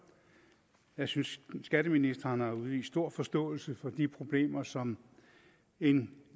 jeg synes at skatteministeren har udvist stor forståelse for de problemer som en